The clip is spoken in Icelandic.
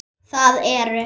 Það eru